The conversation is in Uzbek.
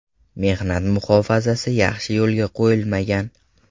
Mehnat muhofazasi yaxshi yo‘lga qo‘yilmagan.